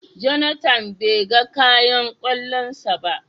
"Jonathan " be gan kayan kwallon sa ba.